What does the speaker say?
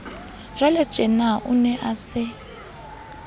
jwaletjena o ne a se